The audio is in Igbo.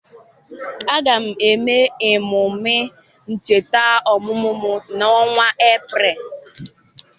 Aga m eme emume ncheta ọmụmụ m n'ọnwa Eprel.